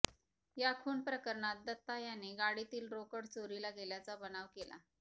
या खून प्रकरणात दत्ता याने गाडीतील रोकड चोरीला गेल्याचा बनाव केला